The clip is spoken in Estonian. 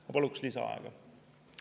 Ma paluks lisaaega.